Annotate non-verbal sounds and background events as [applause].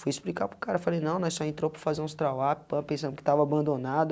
Fui explicar para o cara, falei, não, nós só entrou para fazer uns trawap, [unintelligible] pensamos que estava abandonado.